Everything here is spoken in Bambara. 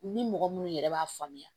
Ni mɔgɔ munnu yɛrɛ b'a faamuya